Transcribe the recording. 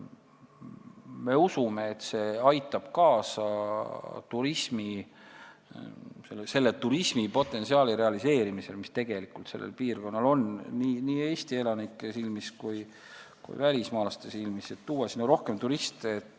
Me usume, et see aitab kaasa turismipotentsiaali realiseerimisele, mis tegelikult sellel piirkonnal on nii Eesti elanike kui välismaalaste silmis, ja toob sinna rohkem turiste.